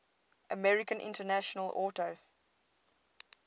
american international auto